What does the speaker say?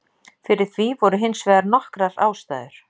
Fyrir því voru hins vegar nokkrar ástæður.